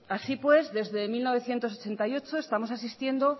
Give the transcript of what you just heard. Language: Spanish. así pues desde mil novecientos ochenta y ocho estamos asistiendo